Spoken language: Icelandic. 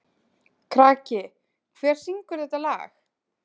Kraki, hver syngur þetta lag?